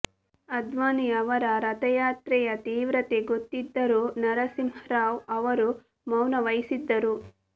ಅದ್ವಾನಿ ಅವರ ರಥಯಾತ್ರೆಯ ತೀವ್ರತೆ ಗೊತ್ತಿದ್ದರೂ ನರಸಿಂಹರಾವ್ ಅವರು ಮೌನ ವಹಿಸಿದ್ದರು